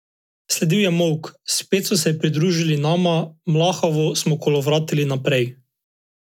Sledil je molk, spet so se pridružili nama, mlahavo smo kolovratili naprej.